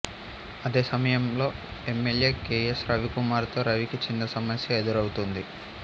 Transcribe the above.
అదే సమయంలో MLA K S Ravikumar తో రవికి చిన్న సమస్య ఎదురవుతుంది